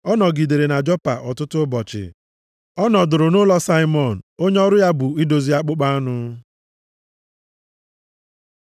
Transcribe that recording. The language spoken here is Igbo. Ọ nọgidere na Jopa ọtụtụ ụbọchị. Ọ nọdụrụ nʼụlọ Saimọn, onye ọrụ ya bụ idozi akpụkpọ anụ.